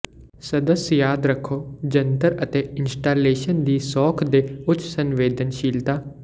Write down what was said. ਸਦੱਸ ਯਾਦ ਰੱਖੋ ਜੰਤਰ ਅਤੇ ਇੰਸਟਾਲੇਸ਼ਨ ਦੀ ਸੌਖ ਦੇ ਉੱਚ ਸੰਵੇਦਨਸ਼ੀਲਤਾ